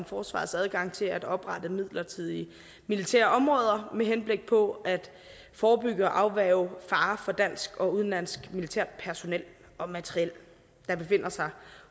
forsvarets adgang til at oprette midlertidige militærområder med henblik på at forebygge og afværge farer for dansk og udenlandsk militærpersonel og materiel der befinder sig